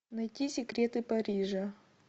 найти секреты парижа